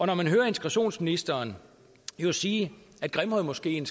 når man hører integrationsministeren sige at grimhøjmoskeen